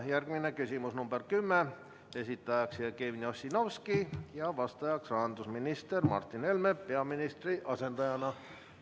Järgmine küsimus, nr 10, esitaja Jevgeni Ossinovski ja vastaja rahandusminister Martin Helme peaministri asendajana.